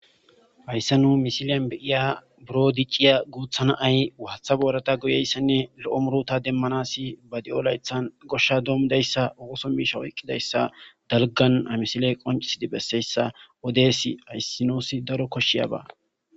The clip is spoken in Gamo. Hayssa nu misiliyan be'iya, biron dicciya guutta na'ayi, waata borata go'ayisanni, lo'o murota demmanassi ba de'o layttan goosha dommida issa, ooso misha oykkida issa, dalggan ha misiley qonccisidi bessiya issa, odeysi ha oosoyi nuusi daro koshshiyaba.